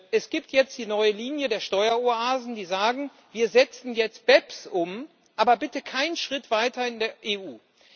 Es gibt jetzt die neue Linie der Steueroasen, die sagen Wir setzen jetzt BEPS um, aber bitte keinen Schritt weiter in der EU!